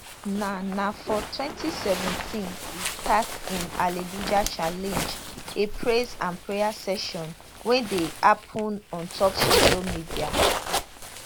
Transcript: na na for 2017 e start im hallelujah challenge a praise and prayer session wey dey happun ontop social media